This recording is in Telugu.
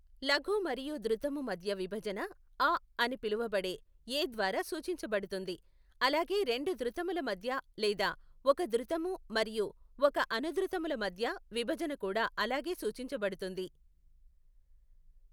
లఘు మరియు ధృతము మధ్య విభజన అ అని పిలువబడే ఏ ద్వారా సూచించబడుతుంది, అలాగే రెండు ధృతముల మధ్య లేదా ఒక ధృతము మరియు ఒక అనుధృతముల మధ్య విభజన కూడా అలాగే సూచించబడుతుంది.